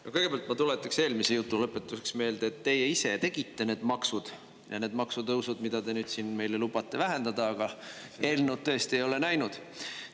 No kõigepealt ma tuletaks eelmise jutu lõpetuseks meelde, et teie ise tegite need maksud ja need maksutõusud, mida te nüüd siin meile lubate vähendada, aga eelnõu, tõesti, ei ole näinud.